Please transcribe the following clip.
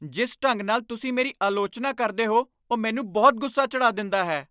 ਜਿਸ ਢੰਗ ਨਾਲ ਤੁਸੀਂ ਮੇਰੀ ਆਲੋਚਨਾ ਕਰਦੇ ਹੋ, ਉਹ ਮੈਨੂੰ ਬਹੁਤ ਗੁੱਸਾ ਚੜ੍ਹਾ ਦਿੰਦਾ ਹੈ।